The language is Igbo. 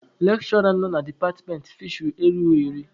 Lekshụra nọ na departmentị fisheri erughị iri.